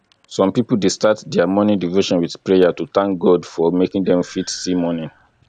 some pipo dey start their morning devotion with prayer to thank god for making dem fit see morning